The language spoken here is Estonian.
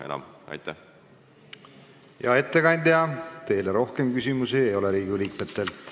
Hea ettekandja, Riigikogu liikmetel teile rohkem küsimusi ei ole.